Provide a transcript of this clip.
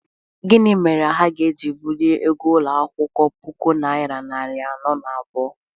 gini mere ha ga-eji buliri ego ulo akwukwo, puku naira nari ano na abuo?